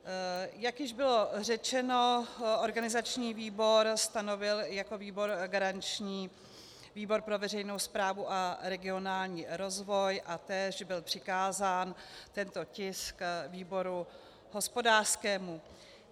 Jak již bylo řečeno, organizační výbor stanovil jako výbor garanční výbor pro veřejnou správu a regionální rozvoj a též byl přikázán tento tisk výboru hospodářskému.